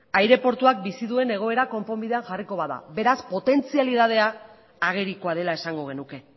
aireportuak bizi duen egoera konponbidean jarriko bada beraz potentzialitatea ageriko dela esango genuke